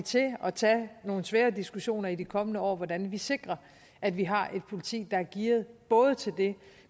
til at tage nogle svære diskussioner i de kommende år om hvordan vi sikrer at vi har et politi der er gearet både til det